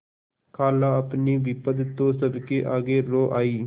खालाअपनी विपद तो सबके आगे रो आयी